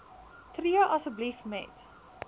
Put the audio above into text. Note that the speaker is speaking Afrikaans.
tree asseblief met